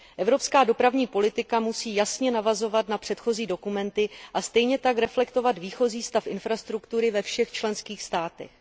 Evropská dopravní politika musí jasně navazovat na předchozí dokumenty a stejně tak reflektovat výchozí stav infrastruktury ve všech členských státech.